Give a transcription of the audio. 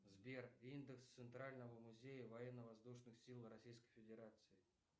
сбер индекс центрального музея военно воздушных сил российской федерации